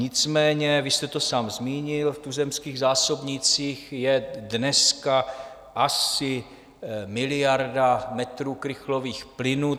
Nicméně, vy jste to sám zmínil, v tuzemských zásobnících je dneska asi miliarda metrů krychlových plynu.